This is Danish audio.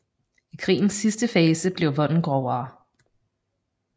I krigens sidste fase blev volden grovere